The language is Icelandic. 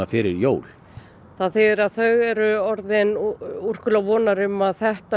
fyrir jól þá eru þau orðin úrkula vonar um að þetta